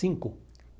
Cinco.